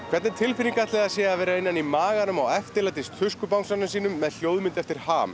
hvernig tilfinning ætli það sé að vera inni í maganum á með hljóðmynd eftir